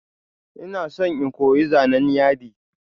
Ina son in koyi zanan yadi.